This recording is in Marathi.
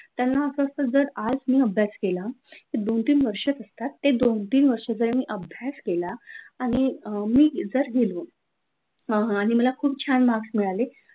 त्यांना अस असतं जर आज मी अभ्यास केला तर दोन-तीन वर्षच असतात. ते दोन-तीन वर्ष अरे मी अभ्यास केला आणि मी जर गेलो हा हा जर मला खूप छान मार्क मिळाले,